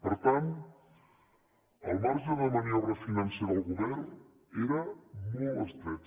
per tant el marge de maniobra financera del govern era molt estret